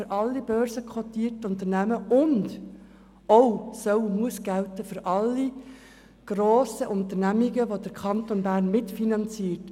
Er gilt für alle börsenkotierten Unternehmen, und er muss auch für alle grossen Unternehmungen gelten, die der Kanton Bern mitfinanziert.